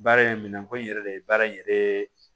Baara in minɛnko in yɛrɛ de ye baara in yɛrɛ